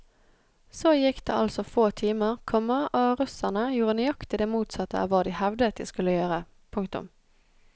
Så gikk det altså få timer, komma og russerne gjorde nøyaktig det motsatte av hva de hevdet de skulle gjøre. punktum